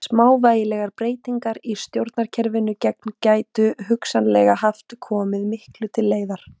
Smávægilegar breytingar í stjórnkerfum gena gætu hugsanlega hafa komið miklu til leiðar.